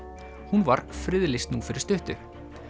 hún var friðlýst nú fyrir stuttu